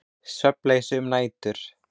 Svefnleysi um nætur.